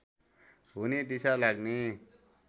हुने दिसा लाग्ने